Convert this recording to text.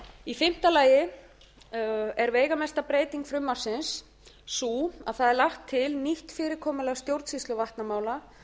í fimmta lagi er veigamesta breyting frumvarpsins sú að það er lagt til nýtt fyrirkomulag stjórnsýslu vatnamála